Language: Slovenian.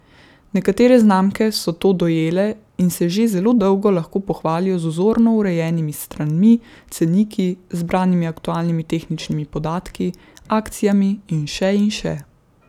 Nekatere znamke so to dojele in se že zelo dolgo lahko pohvalijo z vzorno urejenimi stranmi, ceniki, zbranimi aktualnimi tehničnimi podatki, akcijami in še in še.